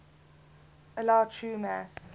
allow true mass